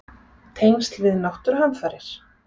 Tengsl við náttúruhamfarir?